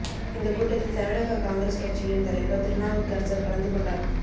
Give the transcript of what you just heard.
இந்த கூட்டத்தில் தமிழக காங்கிரஸ் கட்சியின் தலைவர் திருநாவுக்கரசர் கலந்து கொண்டார்